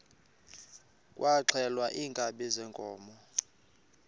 kwaxhelwa iinkabi zeenkomo